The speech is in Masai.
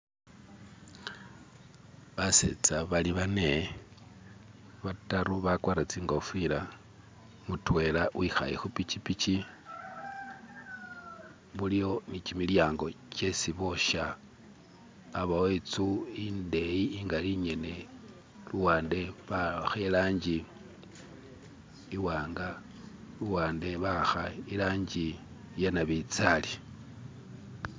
Basetsa bali bane, ba'taru bakwarire tsi'ngofila, mutwela wi'khale khupikipiki , bulikho ne kimilyango kyesibosya, abawo itsu indeyi ingali ingene luwande bawakha i'langi i'wanga luwande bawakhaye nabintsali